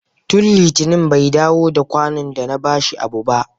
Tun litinin bai dawo da kwano da na bashi abu ba.